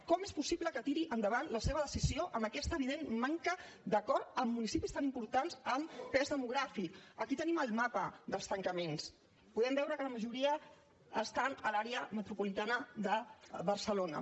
com és possible que tiri endavant la seva decisió amb aquesta evident manca d’acord amb municipis tan importants en pes demogràfic aquí tenim el mapa dels tancaments podem veure que la majoria estan a l’àrea metropolitana de barcelona